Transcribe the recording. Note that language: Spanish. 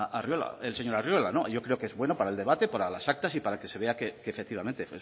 el señor arriola yo creo que es bueno para el debate para las actas y para que se vea que efectivamente